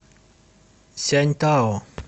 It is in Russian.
сяньтао